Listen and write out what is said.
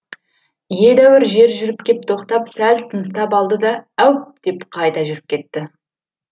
едәуір жер жүріп кеп тоқтап сәл тыныстап алды да әуп деп қайта жүріп кетті